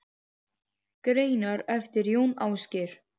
Greinar eftir Jón Ásgeir